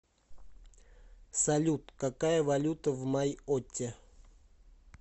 салют какая валюта в майотте